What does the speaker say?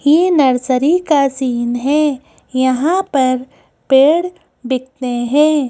ये नर्सरी का सीन है यहां पर पेड़ बिकते हैं।